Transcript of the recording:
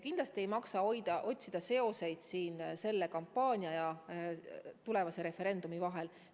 Kindlasti ei maksa otsida seoseid selle kampaania ja tulevase referendumi vahel.